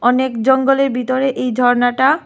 অনেক জঙ্গলের ভিতরে এই ঝর্নাটা।